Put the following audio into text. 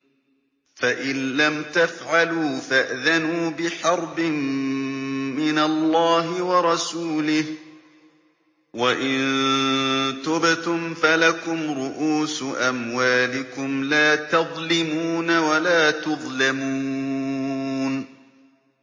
فَإِن لَّمْ تَفْعَلُوا فَأْذَنُوا بِحَرْبٍ مِّنَ اللَّهِ وَرَسُولِهِ ۖ وَإِن تُبْتُمْ فَلَكُمْ رُءُوسُ أَمْوَالِكُمْ لَا تَظْلِمُونَ وَلَا تُظْلَمُونَ